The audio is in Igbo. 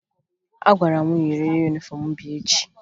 A gwara mụ yiri yunifọmụ m bịa echi